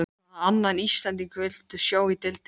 Hvaða annan Íslending viltu sjá í deildinni?